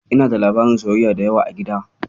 Ina da labaran soyayya da yawa a gida.